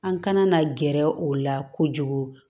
An kana na gɛrɛ o la kojugu